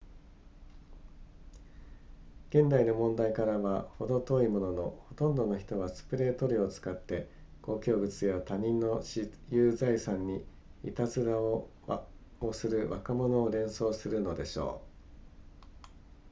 現代の問題からはほど遠いもののほとんどの人はスプレー塗料を使って公共物や他人の私有財産にいたずらをする若者を連想するのでしょう